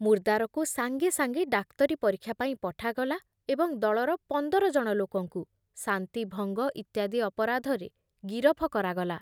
ମୁର୍ଦ୍ଦାରକୁ ସାଙ୍ଗେ ସାଙ୍ଗେ ଡାକ୍ତରୀ ପରୀକ୍ଷା ପାଇଁ ପଠାଗଲା ଏବଂ ଦଳର ପନ୍ଦର ଜଣ ଲୋକଙ୍କୁ ଶାନ୍ତି ଭଙ୍ଗ ଇତ୍ୟାଦି ଅପରାଧରେ ଗିରଫ କରାଗଲା ।